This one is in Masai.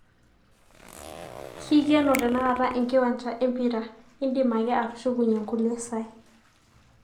keikeno tenakata enkiwanja e mpira, idim ake atushukunye nkulie saai